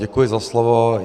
Děkuji za slovo.